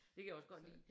Det kan jeg også godt lide